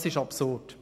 Das ist absurd.